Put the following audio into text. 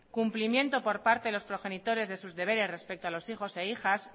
cumplimiento por parte de los progenitores de sus deberes respecto a los hijos e hijas